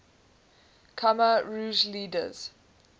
khmer rouge leaders